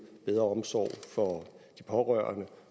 bedre omsorg for de pårørende